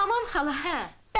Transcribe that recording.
Tamam xala.